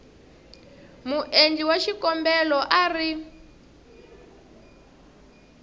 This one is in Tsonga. muendli wa xikombelo a ri